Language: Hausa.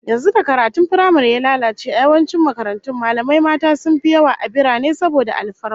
Yanzu da karatun firamare ya lalace, a yawancin makarantun, mallamai mata sun fi yawa a birane saboda alfarma